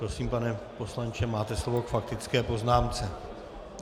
Prosím, pane poslanče, máte slovo k faktické poznámce.